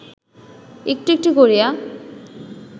একটু একটু করিয়া